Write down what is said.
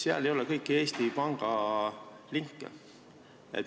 Seal ei ole kõiki Eesti pangalinke.